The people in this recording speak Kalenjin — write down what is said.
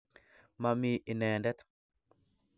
Ma mi ineendet.